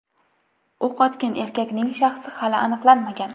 O‘q otgan erkakning shaxsi hali aniqlanmagan.